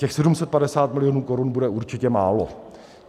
Těch 750 milionů korun bude určitě málo.